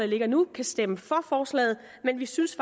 ligger nu kan stemme for forslaget men vi synes